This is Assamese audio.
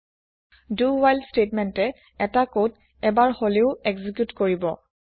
do ৱ্হাইল স্তেতমেন্তে এটা কদ এবাৰ হলেও এক্জি্কিউত কৰিব